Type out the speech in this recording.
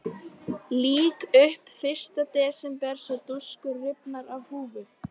Lýk upp fyrsta desember svo dúskur rifnar af húfu.